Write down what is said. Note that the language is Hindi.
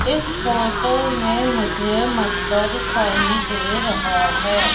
इस फोटो में मुझे मटका दिखाई दे रहा है।